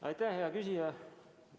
Aitäh, hea küsija!